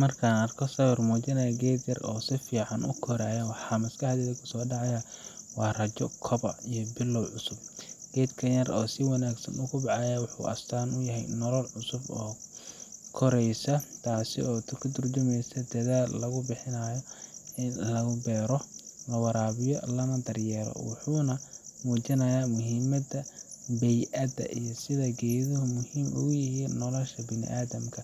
Markaan arko sawir muujinaya geed yar oo si fiican u koraya, waxaa maskaxdayda ku soo dhacaya rajo, koboc, iyo bilow cusub. Geedkan yar ee si wanaagsan u kobcaya wuxuu astaan u yahay nolol cusub oo koraysa, taasoo ka tarjumaysa dadaal lagu bixiyay in la beero, la waraabiyo, lana daryeelo. Wuxuu muujinayaa muhiimada bey’ada iyo sida geeduhu muhiim ugu yihiin nolosha bini’aadamka